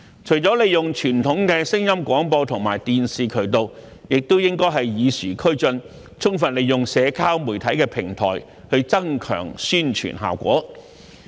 除了利用傳統的聲音廣播和電視渠道，當局也應與時俱進，充分利用社交媒體平台，增強宣傳效果。